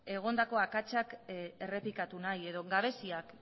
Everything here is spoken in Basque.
egondako akatsak errepikatu nahi edo gabeziak